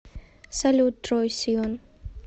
салют трой сиван